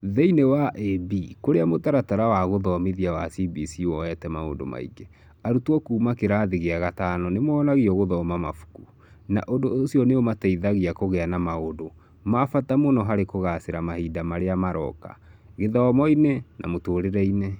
Thĩiniĩ wa ĩB, kũrĩa Mũtaratara wa Gũthomithia wa CBC woete maũndũ maingĩ, arutwo kuuma kĩrathi gĩa gatano nĩ monagio gũthoma mabuku, na ũndũ ũcio nĩ ũmateithagia kũgĩa na maũndũ ma bata mũno harĩ kũgaacĩra mahinda marĩa maroka " kĩthomo-inĩ na mũtũũrĩre-inĩ.